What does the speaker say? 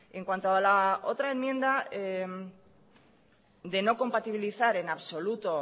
en cuanto a la otra enmienda de no compatibilizar en absoluta